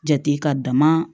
Jate ka dama